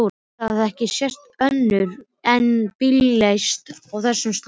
Það hafði ekki sést önnur eins bílalest á þessum slóðum.